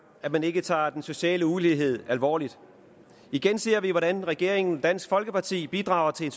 at man ikke tager den sociale ulighed alvorligt igen ser vi hvordan regeringen og dansk folkeparti bidrager til en